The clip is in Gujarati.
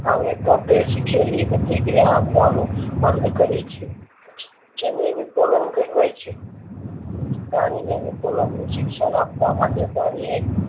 આવે તો તે શીખેલી પ્રતિક્રિયા આપવાનું બંધ કરે છે જેને વિકલન કહેવાય છે પ્રાણી ને વિકલન નું શિક્ષણ આપવા માટે